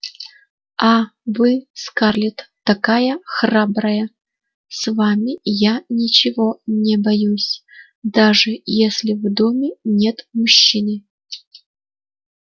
а вы скарлетт такая храбрая с вами я ничего не боюсь даже если в доме нет мужчины